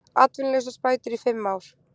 Atvinnuleysisbætur í fimm ár